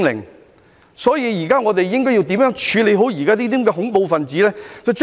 我們現在應該如何處理好"恐怖分子"呢？